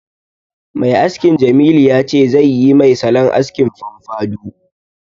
Mai askin Jamilu ya ce zai yi mai salon askin famfadou